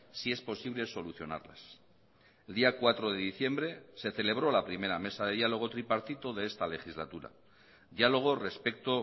si es posible solucionarlas el día cuatro de diciembre se celebró la primera mesa de diálogo tripartito de esta legislatura diálogo respecto